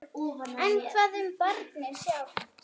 En hvað um barnið sjálft?